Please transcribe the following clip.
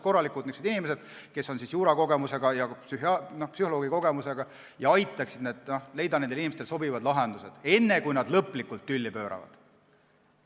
Lepitajaks oleksid juristikogemuse ja psühholoogikogemusega inimesed, nad aitaksid leida neile inimestele sobivad lahendused enne, kui lõplikult tülli pööratakse.